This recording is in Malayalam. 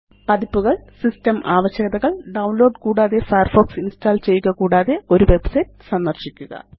പതിപ്പുകള് സിസ്റ്റം ആവശ്യകതകള് ഡൌൺലോഡ് കൂടാതെ ഫയർഫോക്സ് ഇന്സ്റ്റാള് ചെയ്യുക കൂടാതെ ഒരു വെബ്സൈറ്റ് സന്ദര്ശിക്കുക